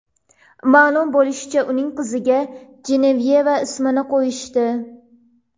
Ma’lum bo‘lishicha, uning qiziga Jenevyeva ismini qo‘yishdi.